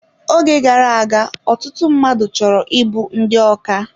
Oge gara aga, ọtụtụ mmadụ chọrọ ịbụ ndị ọkà